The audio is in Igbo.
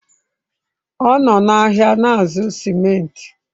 Ọ nọ n'ahịa na-azụ simenti.